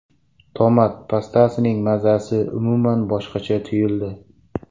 Tomat pastasining mazasi umuman boshqacha tuyuldi.